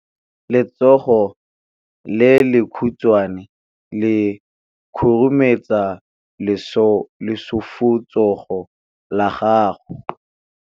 Letsogo le lekhutshwane le khurumetsa lesufutsogo la gago.